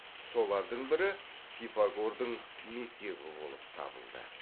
солардың бірі пифагордың мектебі болып табылды